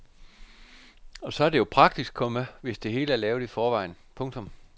Og så er det jo praktisk, komma hvis det hele er lavet i forvejen. punktum